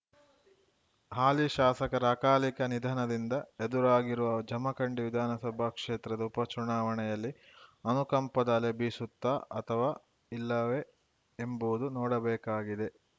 ಹಾಲಿ ಶಾಸಕರ ಅಕಾಲಿಕ ನಿಧನದಿಂದ ಎದುರಾಗಿರುವ ಜಮಖಂಡಿ ವಿಧಾನಸಭಾ ಕ್ಷೇತ್ರದ ಉಪಚುನಾವಣೆಯಲ್ಲಿ ಅನುಕಂಪದ ಅಲೆ ಬೀಸುತ್ತಾ ಅಥವಾ ಇಲ್ಲವೇ ಎಂಬುದು ನೋಡಬೇಕಾಗಿದೆ